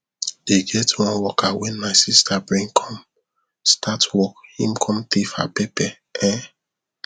e get one worker wen my sister bring come start work him come thief her pepper um